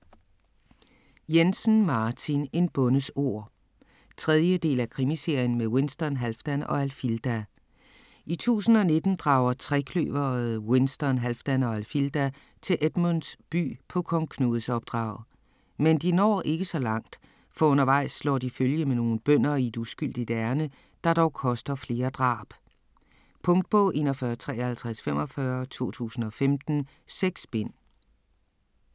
Jensen, Martin: En bondes ord 3. del af Krimiserien med Winston, Halfdan og Alfilda. I 1019 drager trekløveret Winston, Halfdan og Alfilda til Edmunds By på Kong Knuds opdrag. Men de når ikke så langt, for undervejs slår de følge med nogle bønder i et uskyldigt ærinde, der dog koster flere drab. Punktbog 415345 2015. 6 bind.